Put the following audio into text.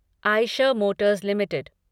Eicher Motors limited